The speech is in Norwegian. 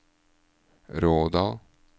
Rådal